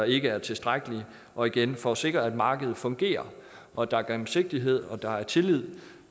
ikke er tilstrækkelige og igen for at sikre at markedet fungerer og at der er gennemsigtighed og at der er tillid